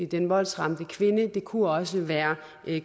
den voldsramte kvinde det kunne også være